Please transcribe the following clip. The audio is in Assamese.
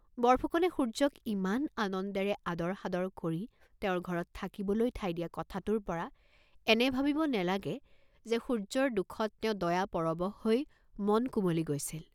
বৰফুকনে সূৰ্য্যক ইমান আনন্দেৰে আদৰ সাদৰ কৰি তেওঁৰ ঘৰত থাকিবলৈ ঠাই দিয়া কথাটোৰ পৰা এনে ভাবিব নেলাগে যে সূৰ্য্যৰ দুখত তেওঁ দয়া পৰবশ হৈ মন কুমলি গৈছিল।